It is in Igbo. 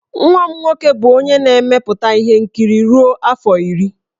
Nwa m nwoke bụ onye na-emepụta ihe nkiri ruo afọ iri.